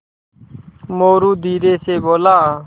मोरू धीरे से बोला